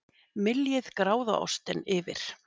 Myljið gráðaostinn yfir.